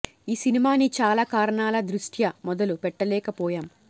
ఈ సినిమా ని చాలా కారణాల దృష్ట్యా మొదలు పెట్టలేక పోయాం